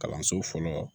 Kalanso fɔlɔ